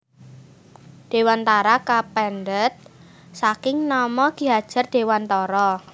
Dewantara kapendhet saking nama Ki Hadjar Dewantara